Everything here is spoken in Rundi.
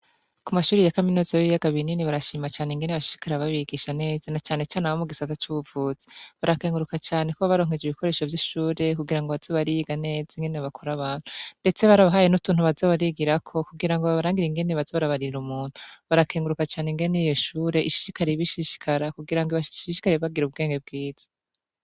Ku mashuri ya kaminuza yo kubiyaga binini barashima cane ingene bashishikara babigisha neza na cane cane abo mu gisata cy'ubuvuzi barakenguruka cane ko baronkeje ibikoresho vy'ishure kugira ngo baze bariga neza ingene bakora abantu ndetse bari bahaye n'utuntu bazo barigira ko kugira ngo barangira ingene bazo barabarira umuntu barakenguruka cane ingene iyo ishure ishishikariye bishishikara kugira ngo ibashishikarie bagire ubwenge bwiza.